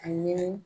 A ɲini